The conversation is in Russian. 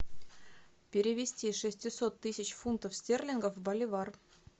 перевести шестисот тысяч фунтов стерлингов в боливар